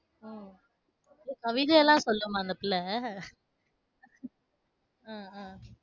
உம் கவிதையெல்லாம் சொல்லுமா அந்த பிள்ளை உம் அஹ்